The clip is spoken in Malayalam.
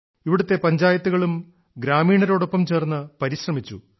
ഇവിടത്തെ പഞ്ചായത്തുകളും ഗ്രാമീണരോടൊപ്പം ചേർന്ന് പരിശ്രമിച്ചു